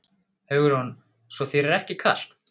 Hugrún: Svo þér er ekki kalt?